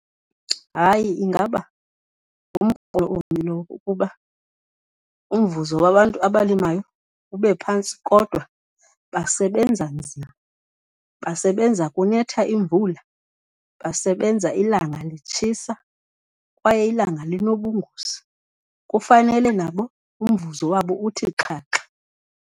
Hayi, ingaba lowo ukuba umvuzo wabantu abalimayo ube phantsi kodwa basebenza nzima, basebenza kunetha imvula, basebenza ilanga litshisa kwaye ilanga linobungozi. Kufanele nabo umvuzo wabo uthi xhaxha.